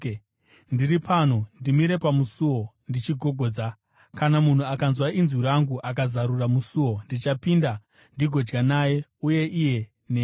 Ndiri pano! Ndimire pamusuo ndichigogodza. Kana munhu akanzwa inzwi rangu akazarura musuo, ndichapinda ndigodya naye, uye iye neni.